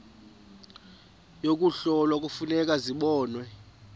yokuhlola kufuneka zibonwe